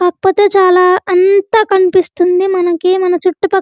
కాకపోతే చాలా అంత కనిపిస్తుంది మనకి మన చుట్టు పక్క --